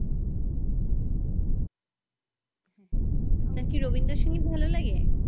আপনার কি রবীন্দ্র সঙ্গীত ভালো লাগে